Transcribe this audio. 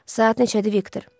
Saat neçədir Viktor?